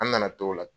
An nana t'o la